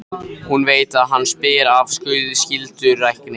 Hún veit að hann spyr af skyldurækni.